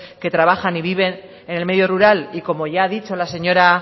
que trabajan y viven en el medio rural y como ya ha dicho la señora